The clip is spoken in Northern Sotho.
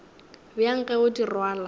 bjang ge o di rwala